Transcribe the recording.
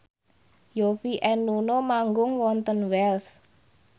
Yovie and Nuno manggung wonten Wells